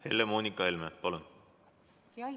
Helle-Moonika Helme, palun!